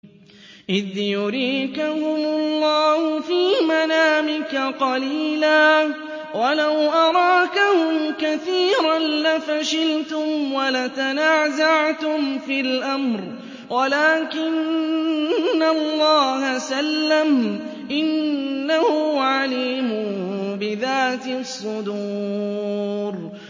إِذْ يُرِيكَهُمُ اللَّهُ فِي مَنَامِكَ قَلِيلًا ۖ وَلَوْ أَرَاكَهُمْ كَثِيرًا لَّفَشِلْتُمْ وَلَتَنَازَعْتُمْ فِي الْأَمْرِ وَلَٰكِنَّ اللَّهَ سَلَّمَ ۗ إِنَّهُ عَلِيمٌ بِذَاتِ الصُّدُورِ